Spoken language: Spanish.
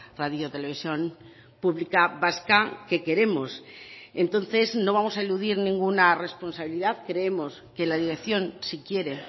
radio televisión pública vasca que queremos entonces no vamos a eludir ninguna responsabilidad creemos que la dirección si quiere